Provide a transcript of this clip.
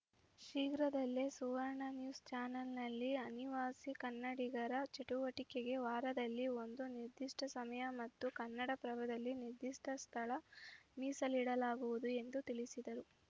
ಶೀಘ್ರದಲ್ಲಿಯೇ ಸುವರ್ಣ ನ್ಯೂಸ್‌ ಚಾನಲ್‌ನಲ್ಲಿ ಅನಿವಾಸಿ ಕನ್ನಡಿಗರ ಚಟುವಟಿಕೆಗೆ ವಾರದಲ್ಲಿ ಒಂದು ನಿರ್ದಿಷ್ಟಸಮಯ ಮತ್ತು ಕನ್ನಡಪ್ರಭದಲ್ಲಿ ನಿರ್ದಿಷ್ಟಸ್ಥಳ ಮೀಸಲಿಡಲಾಗುವುದು ಎಂದು ತಿಳಿಸಿದರು